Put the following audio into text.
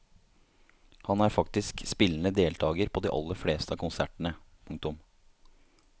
Han er faktisk spillende deltager på de aller fleste av konsertene. punktum